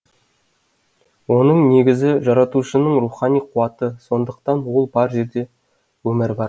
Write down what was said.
оның негізі жаратушының рухани қуаты сондықтан ол бар жерде өмір бар